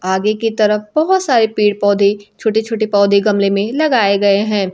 आगे की तरफ बहोत सारे पेड़ पौधे छोटे छोटे पौधे गमले में लगाए गए हैं।